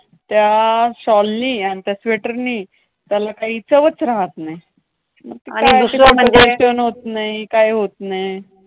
त्या शॉलनी आन् त्या स्वेटरनी त्याला काही चवच राहात नाय. आणि दुसरे म्हणजे होत नाही, काय होत नाय.